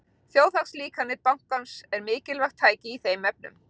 Þjóðhagslíkan bankans er mikilvægt tæki í þeim efnum.